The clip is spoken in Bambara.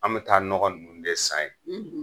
An be taa nɔgɔ nunnu de san ye